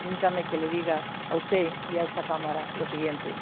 Permítame que les diga a usted y a esta Cámara lo siguiente.